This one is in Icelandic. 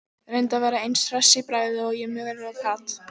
Reyndi að vera eins hress í bragði og ég mögulega gat.